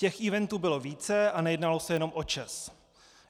Těch eventů bylo více a nejednalo se jenom o ČEZ.